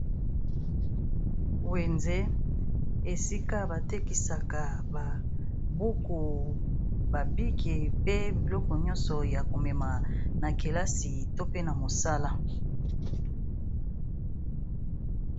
wenze esika batekisaka babuku babiki pe biloko nyonso ya komema na kelasi to na mosala